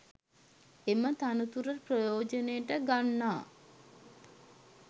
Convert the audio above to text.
එම තනතුර ප්‍රෙයා්ජනයට ගන්නා